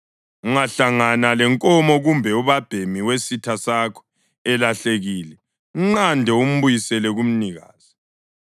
Ungahlangana lenkomo kumbe ubabhemi wesitha sakho elahlekile, mnqande umbuyisele kumnikazi.